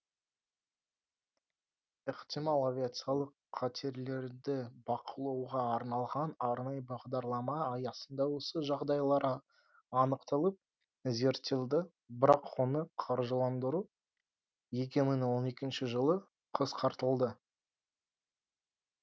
ықтимал авиациялық қатерлерді бақылауға арналған арнайы бағдарлама аясында осы жағдайлар анықталып зерттелді бірақ оны қаржыландыру екі мың он екінші жылы қысқартылды